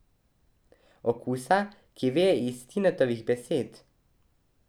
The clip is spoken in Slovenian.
Okusa, ki veje iz Tinetovih besed.